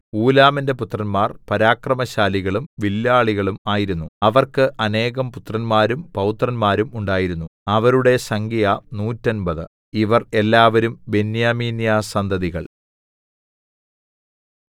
ഊലാമിന്റെ പുത്രന്മാർ പരാക്രമശാലികളും വില്ലാളികളും ആയിരുന്നു അവർക്ക് അനേകം പുത്രന്മാരും പൌത്രന്മാരും ഉണ്ടായിരുന്നു അവരുടെ സംഖ്യ നൂറ്റമ്പത് 150 ഇവർ എല്ലാവരും ബെന്യാമീന്യസന്തതികൾ